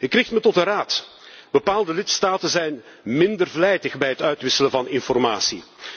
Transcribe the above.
Ik richt me tot de Raad bepaalde lidstaten zijn minder vlijtig bij het uitwisselen van informatie.